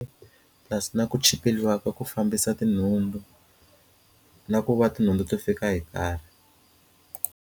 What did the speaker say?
Purasi na ku tshikeleriwa ka ku fambisa tinhundzu na ku va tinhundzu to fika hi nkarhi.